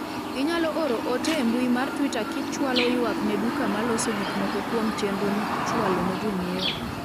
inyalo oro ote e mbui mar twita kichwalo ywak ne duka ma loso gik moko kuom chenro michwalo ne jonyiewo